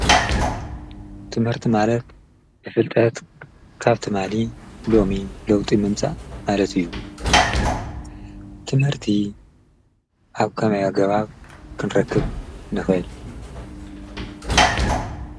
ትመህርቲ ማለት ብፍልጠት ካብቲ ማሊ ሎሚ ሎውጢ ምንጻእ ማለት እዩ ። ትምህርቲ ኣብ ከማይኣገባብ ክንረክብ ንክእል?